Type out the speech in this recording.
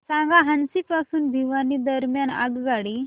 सांगा हान्सी पासून भिवानी दरम्यान आगगाडी